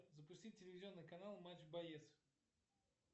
запустить телевизионный канал матч боец